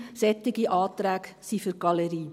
«Solche Anträge sind für die Galerie».